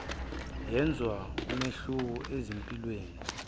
yenze umehluko ezimpilweni